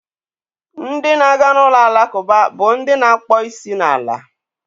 Ndị na-aga n'ụlọ alakụba bụ ndị na-akpọ isi n'ala.